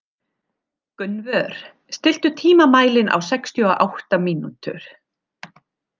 Gunnvör, stilltu tímamælinn á sextíu og átta mínútur.